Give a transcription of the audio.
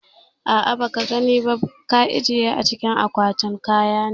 A'ah ba kabani ba, ka ajiye a cikin kwatin kaya ne